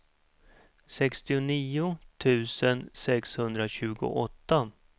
sextionio tusen sexhundratjugoåtta